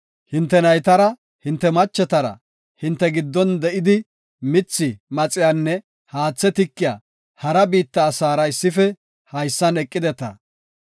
Hinte naytara, hinte machetara, hinte giddon de7idi, mithi mixiyanne haathe tikiya hara biitta asaara issife haysan eqideta.